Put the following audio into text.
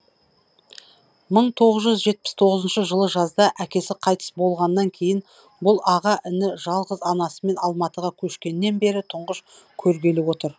мың тоғыз жүз жетпіс тоғызыншы жылы жазда әкесі қайтыс болғаннан кейін бұл аға іні жалғыз анасымен алматыға көшкеннен бері тұңғыш көргелі отыр